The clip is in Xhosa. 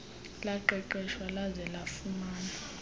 laqeqeshwa laze lafumana